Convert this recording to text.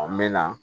An bɛ na